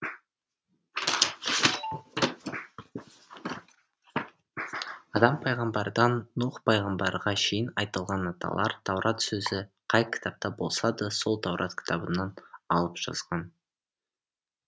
адам пайғамбардан нұх пайғамбарға шейін айтылған аталар таурат сөзі қай кітапта болса да сол таурат кітабынан алып жазған